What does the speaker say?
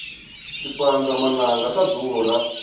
swipandza mananga swa durha